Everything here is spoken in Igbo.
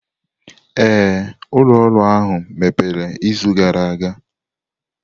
Ee, ụlọ ọrụ ahụ mepere izu gara aga.